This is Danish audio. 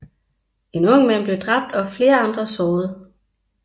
En ung mand blev dræbt og flere andre såret